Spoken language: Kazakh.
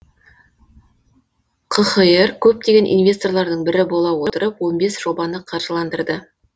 қхр көптеген инвесторлардың бірі бола отырып он бес жобаны қаржыландырды